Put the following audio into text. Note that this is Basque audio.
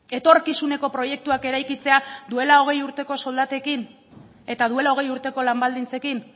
etorkizuneko proiektuak eraikitzea duela hogei urteko soldatekin eta duela hogei urteko lan baldintzekin